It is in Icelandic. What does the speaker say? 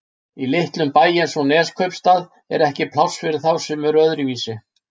Í litlum bæ eins og Neskaupstað er ekki pláss fyrir þá sem eru öðruvísi.